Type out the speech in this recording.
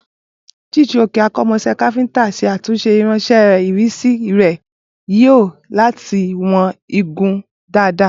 Chijioke, akọ́ṣẹ́mọṣẹ́ káfíńtà, ṣe àtúnṣe irinṣẹ́ ìrísí rẹ̀ tí ó ń yọ láti wọ̀n igun dáadáa.